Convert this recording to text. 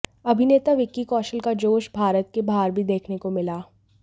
अभिनेता विक्की कौशल का जोश भारत के बाहर भी देखने को मिला